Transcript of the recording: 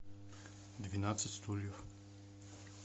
двенадцать стульев